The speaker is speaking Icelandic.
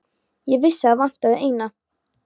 Ég vissi að það vantaði eina.